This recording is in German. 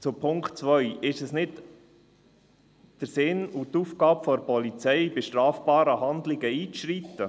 Zum Punkt 2: Ist es nicht Sinn und Aufgabe der Polizei, bei strafbaren Handlungen einzuschreiten?